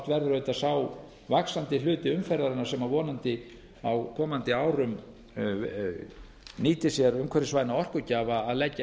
auðvitað sá vaxandi hluti umferðarinnar sem vonandi á komandi árum nýtir sér umhverfisvæna orkugjafa að leggja